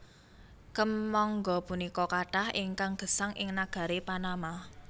Kèmangga punika kathah ingkang gesang ing nagari Panama